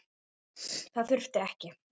Það þurfti ekki.